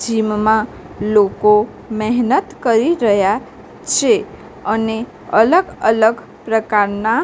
gym માં લોકો મહેનત કરી રહ્યા છે અને અલગ અલગ પ્રકારના--